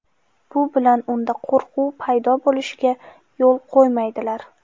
Bu bilan unda qo‘rquv paydo bo‘lishiga yo‘l qo‘ymaydilar.